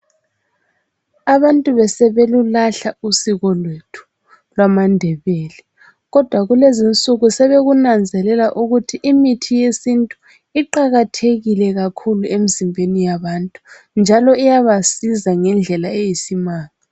Abantu besebelulahla usiko lwethu lwamaNdebele Kodwa kulezinsuku sebekunanzelalela ukuthi imithi yesintu iqakathekile kakhulu emzimbeni yabantu njalo iyabasiza ngendlela eyisimanga.